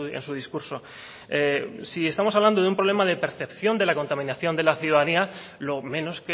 en su discurso si estamos hablando de un problema de percepción de la contaminación de la ciudadanía lo menos